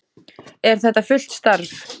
Er þetta fullt starf?